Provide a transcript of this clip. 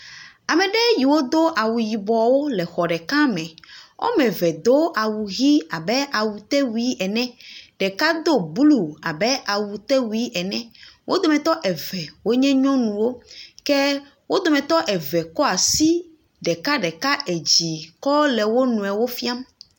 Ame yiwo do awu yibɔ le xɔ ɖeka me. Wo ame eve do awu ʋi abe awutewui ene. Ɖeka do blu abe awutewui ene. Wo dometɔ eve nye nyɔnuwo ke wo dometɔ eve kɔ asi ɖekaɖeka dzi kɔ le wonuiwo fiam.